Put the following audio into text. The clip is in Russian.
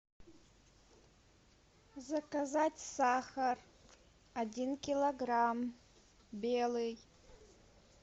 заказать сахар один килограмм белый